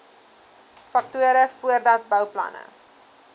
faktore voordat bouplanne